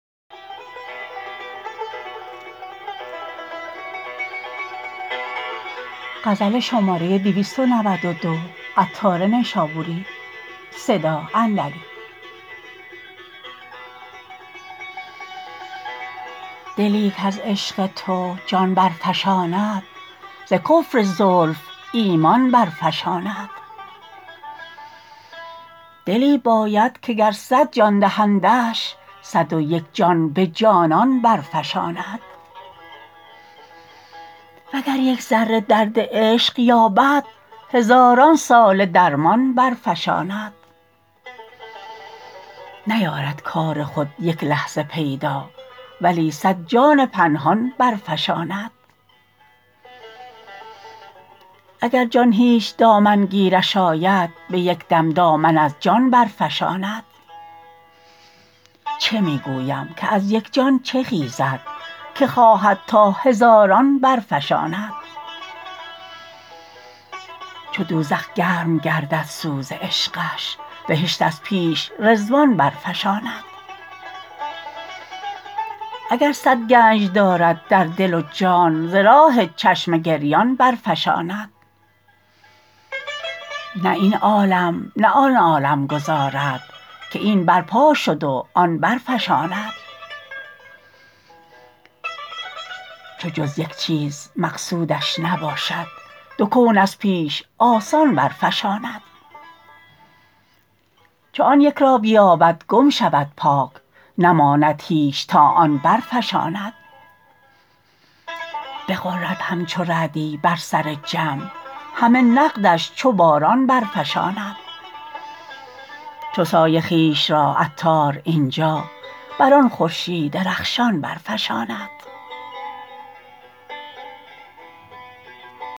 دلی کز عشق تو جان برفشاند ز کفر زلف ایمان برفشاند دلی باید که گر صد جان دهندش صد و یک جان به جانان برفشاند وگر یک ذره درد عشق یابد هزاران ساله درمان برفشاند نیارد کار خود یک لحظه پیدا ولی صد جان پنهان برفشاند اگر جان هیچ دامن گیرش آید به یک دم دامن از جان برفشاند چه می گویم که از یک جان چه خیزد که خواهد تا هزاران برفشاند چو دوزخ گرم گردد سوز عشقش بهشت از پیش رضوان برفشاند اگر صد گنج دارد در دل و جان ز راه چشم گریان برفشاند نه این عالم نه آن عالم گذارد که این برپا شد و آن برفشاند چو جز یک چیز مقصودش نباشد دو کون از پیش آسان برفشاند چو آن یک را بیابد گم شود پاک نماند هیچ تا آن برفشاند بغرد همچو رعدی بر سر جمع همه نقدش چو باران برفشاند چو سایه خویش را عطار اینجا بر آن خورشید رخشان برفشاند